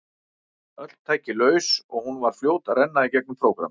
Öll tæki laus og hún var fljót að renna í gegnum prógrammið.